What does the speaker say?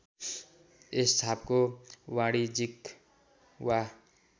यस छापको वाणिज्यिक वा